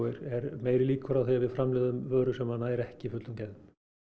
meiri líkur á að við framleiðum vöru sem nær ekki fullum gæðum